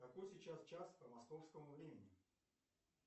какой сейчас час по московскому времени